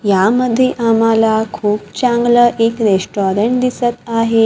यामध्ये आम्हाला खूप चांगलं एक रेस्टॉरंट दिसत आहे.